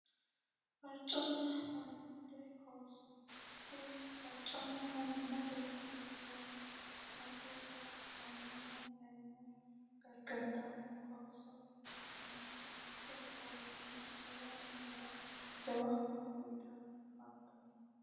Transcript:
Farconna manimmate qooso tini farconna manimmate qooso Yaa mununnita mayimmanna ayimma gargartano qooso ikitanna tinni qoosono lowo manira jawa horo uyitanni afantano.